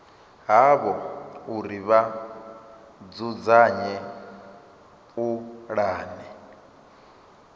havho uri vha dzudzanye pulane